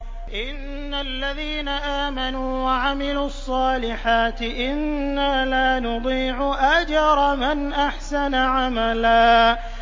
إِنَّ الَّذِينَ آمَنُوا وَعَمِلُوا الصَّالِحَاتِ إِنَّا لَا نُضِيعُ أَجْرَ مَنْ أَحْسَنَ عَمَلًا